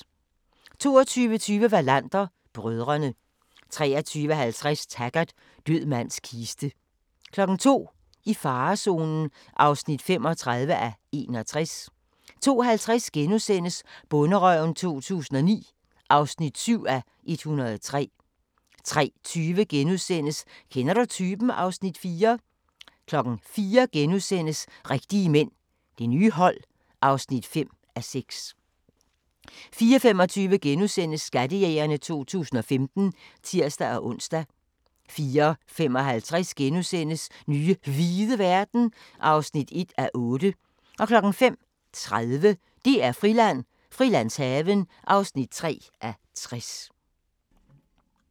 22:20: Wallander: Brødrene 23:50: Taggart: Død mands kiste 02:00: I farezonen (35:61) 02:50: Bonderøven 2009 (7:103)* 03:20: Kender du typen? (Afs. 4)* 04:00: Rigtige mænd – Det nye hold (5:6)* 04:25: Skattejægerne 2015 *(tir-ons) 04:55: Nye hvide verden (1:8)* 05:30: DR-Friland: Frilandshaven (3:60)